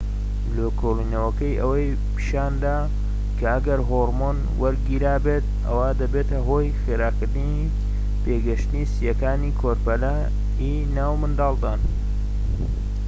لێکۆڵینەوەکەی ئەوەی پیشاندا کە ئەگەر هۆڕمۆن وەرگیرابێت ئەوا دەبێتە هۆی خێراکردنی پێگەشتنی سییەکانی کۆرپەلەی ناو منداڵدان